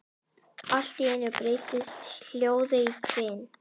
Allt í einu breytist hljóðið í hvin.